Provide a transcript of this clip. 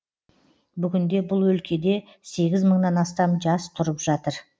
бүгінде бұл өлкеде сегіз мыңнан астам жас тұрып жатыр